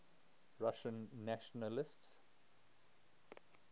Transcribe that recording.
russian nationalists